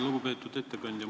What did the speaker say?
Lugupeetud ettekandja!